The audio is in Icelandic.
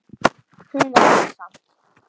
Hún var hissa.